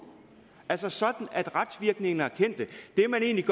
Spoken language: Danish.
altså sådan at retsvirkningerne er